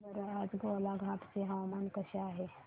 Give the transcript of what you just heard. सांगा बरं आज गोलाघाट चे हवामान कसे आहे